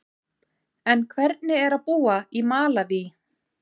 En hvernig er að búa í Malaví?